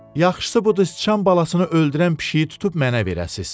Yaxşısı budur sıçan balasını öldürən pişiyi tutub mənə verəsiz.